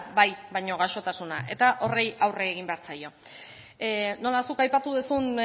bai baino gaixotasuna eta horri aurre egin behar zaio nola zuk aipatu duzun